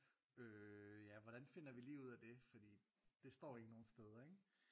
Øh ja hvordan finder vi lige ud af det fordi det står ikke nogen steder ikke